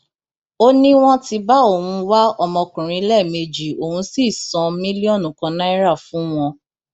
ó ní wọn ti bá òun wá ọmọkùnrin lẹẹmejì òun sì san mílíọnù kan náírà fún wọn